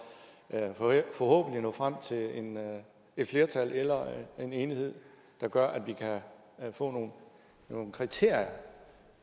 forhåbentlig nå frem til et flertal eller en enighed der gør at vi kan få nogle kriterier